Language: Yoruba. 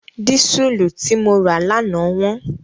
Dísùlù tí mo rà lánàá wọ́n.